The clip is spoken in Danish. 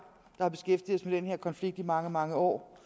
der har beskæftiget os med den her konflikt i mange mange år